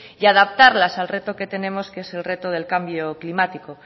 y adaptarlas al reto que tenemos que es el reto del cambio climático